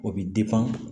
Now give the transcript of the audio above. O bɛ